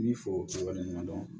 N'i fo yɔrɔ ɲuman dɔn